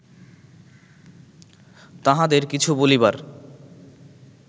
তাঁহাদের কিছু বলিবার